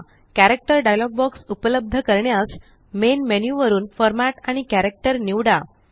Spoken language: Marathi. कॅरेक्टर डायलॉग बॉक्स उपलब्ध करण्यास मेन मेन्यु वरून फॉर्मॅट आणि कॅरेक्टर निवडा